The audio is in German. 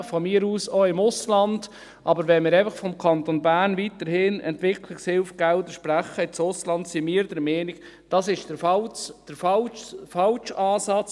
Von mir aus auch im Ausland, aber wenn wir einfach vom Kanton Bern aus weiterhin Entwicklungshilfegelder sprechen fürs Ausland, sind wir der Meinung, das sei der falsche Ansatz.